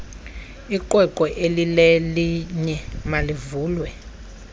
iqweqwe elilelinye malivulwe